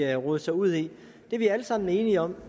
rodet sig ud i det er vi alle sammen enige om